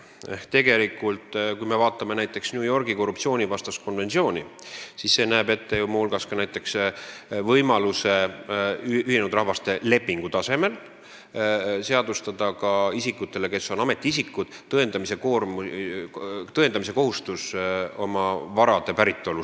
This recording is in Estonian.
Ehk kui me vaatame näiteks New Yorgis vastu võetud Ühinenud Rahvaste Organisatsiooni korruptsioonivastast konventsiooni, siis see näeb muu hulgas ette näiteks võimaluse lepingu tasemel seadustada ametiisikute kohustuse tõendada oma vara päritolu.